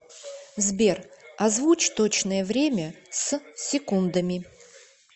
сбер озвучь точное время с секундами